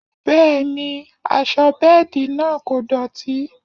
Bẹẹ ni, aṣọ bẹ́ẹ̀dì náà kò dọ̀tí